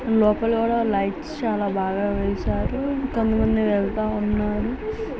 లోపల కూడా లైట్స్ చాలా బాగా వేశారు కొంతమంది వెళుతా వున్నారు.